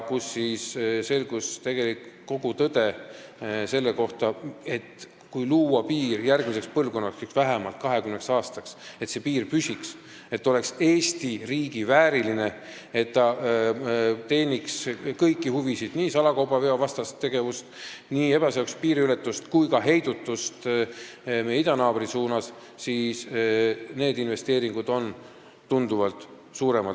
Selgus tõde, et kui rajada piiri järgmise põlvkonna jaoks ehk vähemalt 20 aastaks, nii et see piir püsiks ja oleks Eesti riigi vääriline, teeniks kõiki huvisid, salakaubaveo vastase ja ebaseadusliku piiriületuse vastase tegevuse ning ka idanaabri suunal toimuva heidutuse huvisid, siis investeeringud peavad olema tunduvalt suuremad.